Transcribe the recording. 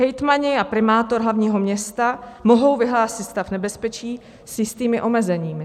Hejtmani a primátor hlavního města mohou vyhlásit stav nebezpečí s jistými omezeními.